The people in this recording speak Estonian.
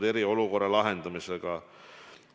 – eriolukorra lahendamisega.